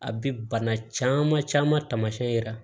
A bi bana caman caman taamasiyɛn yira